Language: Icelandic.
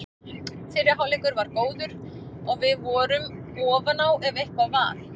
Fyrri hálfleikur var góður og við vorum ofan á ef eitthvað var.